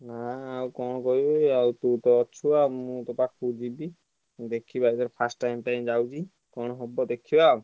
ନାଇଁ ଆଉ କଣ କହିବି ତୁ ତ ଅଛୁ ଆଉ ମୁଁ ତ ତୋ ପକାକୁ ଯିବି ଦେଖିବା ପାଇଁ first time ଯାଉଛି କଣ ହବ ~ଦେ ~ଖିବା ଆଉ।